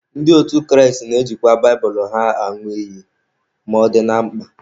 Ndị otu Kraịst na-ejikwa baịbụlụ ha añụ iyi ma ọ dị na mkpa.